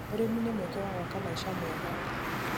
ũrĩmi nĩ mweke wa gwaka maica mega.